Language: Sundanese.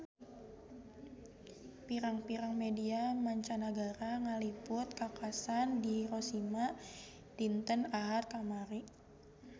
Pirang-pirang media mancanagara ngaliput kakhasan di Hiroshima dinten Ahad kamari